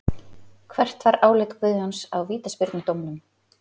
Hvert var álit Guðjóns á vítaspyrnudómnum?